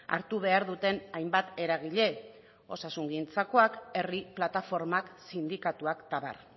hartu behar duten hainbat eragile osasungintzakoak herri plataformak sindikatuak eta abar